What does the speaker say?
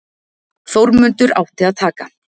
Þórmundur átti að taka